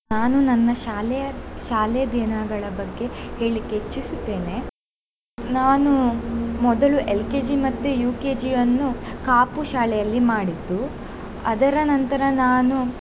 ನಾನು ನನ್ನ ಶಾಲೆಯ ಶಾಲೆ ದಿನಗಳ ಬಗ್ಗೆ ಹೇಳಿಕ್ಕೆ ಇಚ್ಚಿಸುತ್ತೇನೆ. ನಾನು ಮೊದಲು LKG ಮತ್ತೆ UKG ಅನ್ನು ಕಾಪು ಶಾಲೆಯಲ್ಲಿ ಮಾಡಿದ್ದು ಅದರ ನಂತರ ನಾನು.